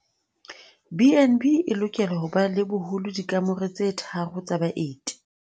BnB e lokela ho ba le boholo dikamore tse tharo tsa baeti.